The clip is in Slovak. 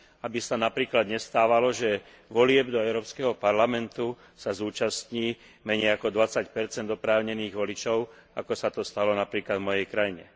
Aby sa napríklad nestávalo, že volieb do Európskeho parlamentu sa zúčastní menej ako 20 oprávnených voličov, ako sa to stalo napríklad v mojej krajine.